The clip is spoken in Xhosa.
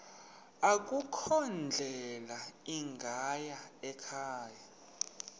akukho ndlela ingayikhaya